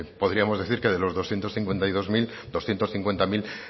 pues podríamos decir que de los doscientos cincuenta y dos mil doscientos cincuenta mil